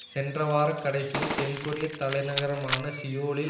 சென்ற வார கடைசியில் தென் கொரிய தலை நகரமான சியோலில்